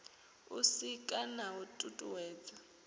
u sika na u tutuwedza